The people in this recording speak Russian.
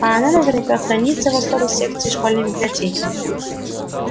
а она наверняка хранится в особой секции школьной библиотеки